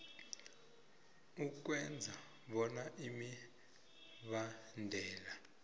ukwenza bona imibandela